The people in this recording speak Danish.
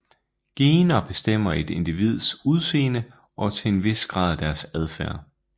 Gener bestemmer et individs udseende og til en vis grad deres adfærd